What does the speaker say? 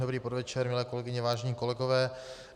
Dobrý podvečer, milé kolegyně, vážení kolegové.